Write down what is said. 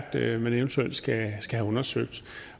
det er man eventuelt skal have undersøgt